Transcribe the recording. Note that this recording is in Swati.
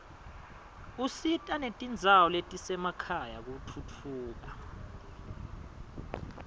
usita netindzawo letisemakhaya kutfutfuka